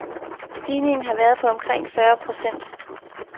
Stigningen har været på omkring fyrre procent.